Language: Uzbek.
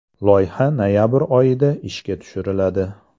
Loyiha noyabr oyida ishga tushiriladi.